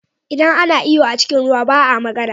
Idan ana iyo a cikin ruwa ba a magana.